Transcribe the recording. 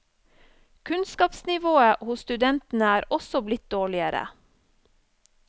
Kunnskapsnivået hos studentene er også blitt dårligere.